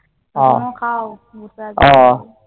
তুমিও খাও বসে আছ